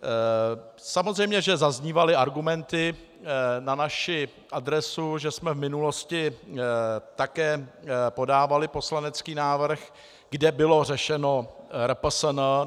Samozřejmě že zaznívaly argumenty na naši adresu, že jsme v minulosti také podávali poslanecký návrh, kde bylo řešeno RPSN.